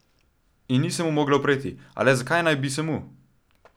In ni se mu mogla upreti, a le zakaj naj bi se mu?